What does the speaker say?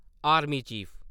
army chief